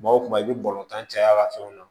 Kuma o kuma i bɛ balontan caya a ka fɛnw na